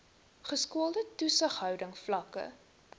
geskoolde toesighouding vlakke